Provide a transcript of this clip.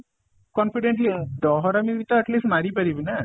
confidentially ଡହରାମି ବି ତା at least ମାରି ପାରିବି ନା